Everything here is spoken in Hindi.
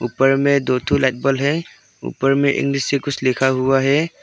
ऊपर में दो ठो लाइट बल्ब है ऊपर में इंग्लिश से कुछ लिखा हुआ है।